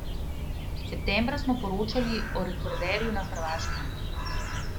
Septembra smo poročali o rekorderju na Hrvaškem.